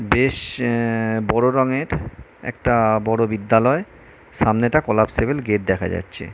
বেশ আহ বড় রঙের একটা বড় বিদ্যালয় সামনেটা কোলাপ্সিবল গেট দেখা যাচ্ছে ।